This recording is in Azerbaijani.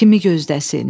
Kimi gözləsin?